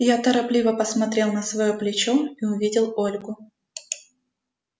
я торопливо посмотрел на своё плечо и увидел ольгу